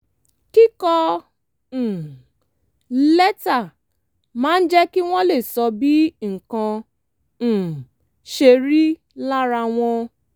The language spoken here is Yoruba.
kíkọ um lẹ́tà máa ń jẹ́ kí wọ́n lè sọ bí nǹkan um ṣe rí lára wọn